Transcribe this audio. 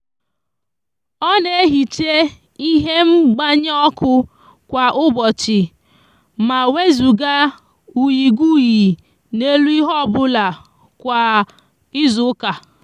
o n'ehicha ihe ngbanye oku kwa ubochi ma wezuga uyiguyi n'elu ihe obula kwa izuuka